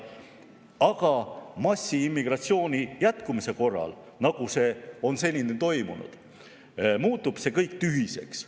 Aga massiimmigratsiooni jätkumise korral, nagu see on seni toimunud, muutub see kõik tühiseks.